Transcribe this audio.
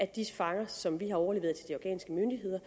de fanger som vi har overleveret til de afghanske myndigheder